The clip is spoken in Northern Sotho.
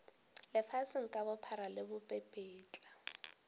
lefaseng ka bophara le bopepetla